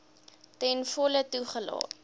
ten volle toegelaat